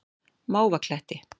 Mávakletti